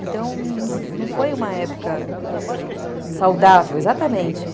Então, não foi uma época saudável, saudável, exatamente.